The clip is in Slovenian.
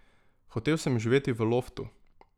Hotel sem živeti v loftu.